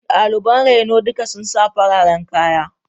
Daliban reno duka sun sa fararen kaya.